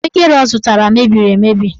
Ahụekere ọ zụtara mebiri emebi.